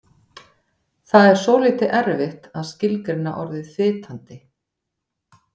Það er svolítið erfitt að skilgreina orðið fitandi.